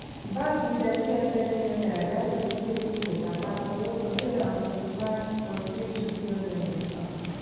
báńkì tẹ three hundred million naira jáde fún cacs àpapọ̀ owó ná seven hundred and forty five point three two billion naira um